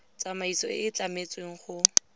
tsamaiso e e tlametsweng go